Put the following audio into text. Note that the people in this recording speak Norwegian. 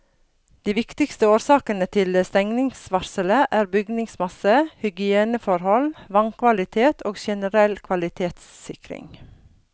De viktigste årsakene til stengningsvarselet er bygningsmasse, hygieneforhold, vannkvalitet og generell kvalitetssikring.